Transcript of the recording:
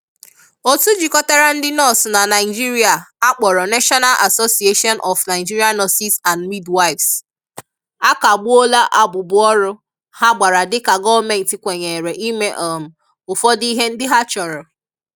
Otu jikọtara ndị nọọsụ na Naịjirịa a kpọrọ 'National Association of Nigerian Nurses and Midwives' akagbuola abụbụọrụ ha gbara dịka gọọmenti kwenyere ime um ụfọdụ ihe ndị ha chọrọ.